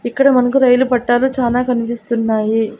ఇక్కడ మనకు రైలు పట్టాలు చానా కనిపిస్తున్నాయి.